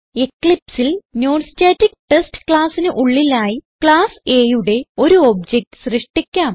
Eclipse ൽ non static test classന് ഉള്ളിലായി ക്ലാസ് Aയുടെ ഒരു ഒബ്ജക്ട് സൃഷ്ടിക്കാം